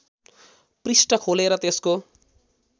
पृष्ठ खोलेर त्यसको